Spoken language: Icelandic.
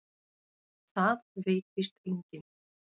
Það veit víst enginn.